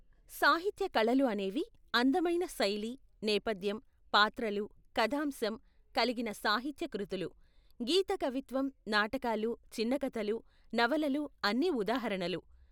సాహిత్య కళలు అనేవి అందమైన శైలి, నేపధ్యం, పాత్రలు, కథాంశం కలిగిన సాహిత్య కృతులు. గీత కవిత్వం, నాటకాలు, చిన్న కథలు, నవలలు అన్ని ఉదాహరణలు.